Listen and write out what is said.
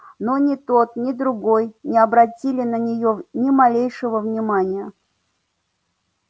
но ни тот ни другой не обратили на нее ни малейшего внимания